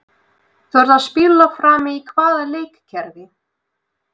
Þú ert að spila frammi í hvaða leikkerfi?